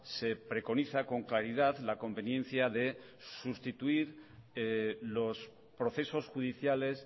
se preconiza con claridad la conveniencia de sustituir los procesos judiciales